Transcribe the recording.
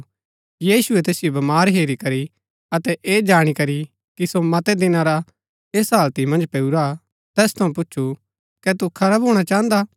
यीशुऐ तैसिओ बमार हेरी करी अतै ऐ जाणी करी की सो मतै दिना रा ऐसा हाळति मन्ज पेऊरा हा तैस थऊँ पूच्छु कै तू खरा भूणा चाहन्दा हा